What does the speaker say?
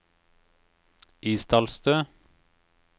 Isdalstø